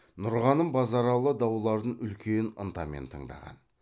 нұрғаным базаралы дауларын үлкен ынтамен тыңдаған